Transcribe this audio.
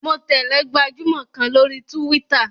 Mo tẹ̀lẹ́ gbajúmọ̀ kan lórí túwítà